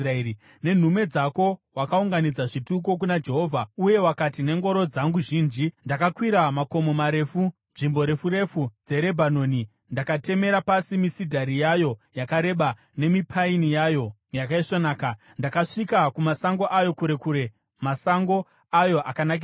Nenhume dzako wakaunganidza zvituko kuna Jehovha. Uye wakati, “Nengoro dzangu zhinji ndakakwira makomo marefu, nzvimbo refu refu dzeRebhanoni. Ndakatemera pasi misidhari yayo yakareba, nemipaini yayo yakaisvonaka. Ndakasvika kumasango ayo kure kure, masango ayo akanakisisa.